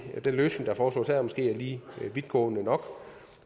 den løsning der foreslås her måske er lige vidtgående nok